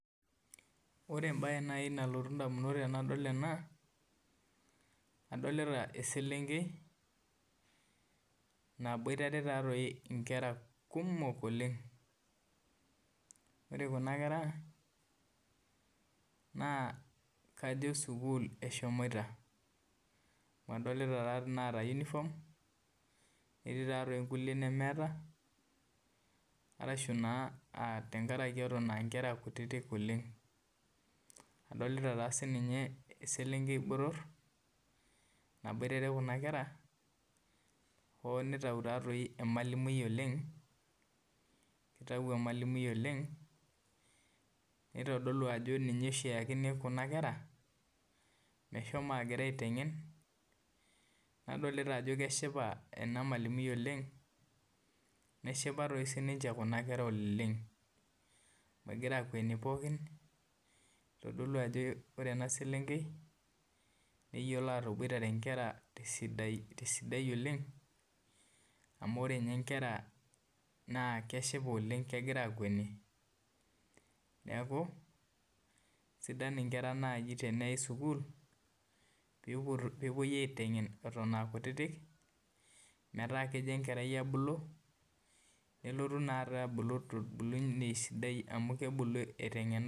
Ore embae nai nalotu ndamunot tanadol ena na adolita eselenkei naboitare nkera kumok oleng ore kuna kera na kajo sukul eshomoita amu kadolta naata unuform netii nemeta arashu na tenkaraki aa nkera kutitik oleng adolta sininye eselenkei botor naboitare kunareta oo nitau nai emalimui oleng nitodolu ajo ninye oshi eyakini kuna kera meshomo aitengen nadolta ajo keshipa enamalimui oleng neshipa nkera oleng amu egira akweni oleng amu kitau ore enaselenkei neyiolo atoboitare nkera tesidai oleng amu ore nye nkera na keshipa oleng kegira akweni neaku sidaii nai nkera teneyai sukul pepuoi aitengen atan aa kutitik metaa kejo enkarai abulu atan aa kutitik nelotu na abulu torbulunye sidai amu kelo abulu tengeno.